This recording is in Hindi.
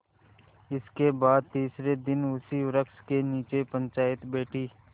इसके बाद तीसरे दिन उसी वृक्ष के नीचे पंचायत बैठी